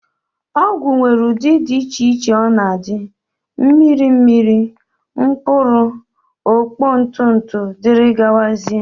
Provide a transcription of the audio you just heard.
Ọgwụ nwere ụdị dị iche iche ọ na-adị, mmiri mmiri, mkpụrụ, okpo, ntụ ntụ dgz